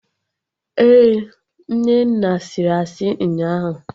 Ee, Nnenna sịrị asị ụnyaahụ